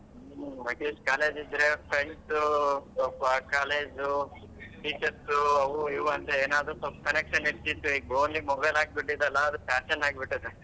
At least college ಇದ್ರೆ friends ಉ college ಉ teachers ಉ ಅವು ಇವು ಅಂತ ಏನಾದ್ರು ಸ್ವಲ್ಪ connection ಇರ್ತಿತ್ತು ಈಗ್ only mobile ಆಗ್ಬಿಟ್ಟಿದೆ ಅಲ್ಲಾ ಅದು fashion ಆಗ್ಬಿಟ್ಟಿದೆ .